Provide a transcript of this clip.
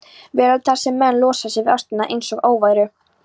veröld þar sem menn losa sig við ástina einsog óværu.